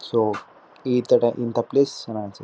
So ಇತರ ಇಂತ place ಚನ್ನಾಗಿ ಅನ್ನ್ಸು --.